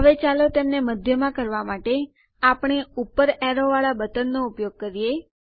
હવે ચાલો તેમને મધ્યમાં કરવા માટે આપણે ઉપર એરો વાળા બટનનો ઉપયોગ કરીએ